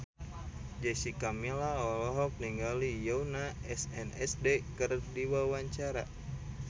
Jessica Milla olohok ningali Yoona SNSD keur diwawancara